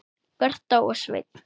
Birta og Sveinn.